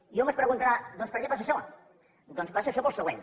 i hom es preguntarà doncs per què passa això doncs passa això pel següent